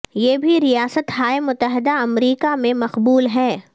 یہ بھی ریاست ہائے متحدہ امریکہ میں مقبول ہے